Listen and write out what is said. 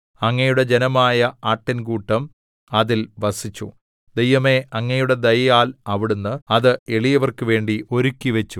അങ്ങയുടെ ജനമായ ആട്ടിൻകൂട്ടം അതിൽ വസിച്ചു ദൈവമേ അങ്ങയുടെ ദയയാൽ അവിടുന്ന് അത് എളിയവർക്കുവേണ്ടി ഒരുക്കിവച്ചു